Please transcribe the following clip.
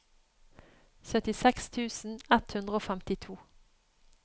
syttiseks tusen ett hundre og femtito